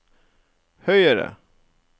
høyere